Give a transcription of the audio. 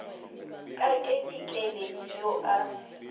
ka ke dikeledi yo a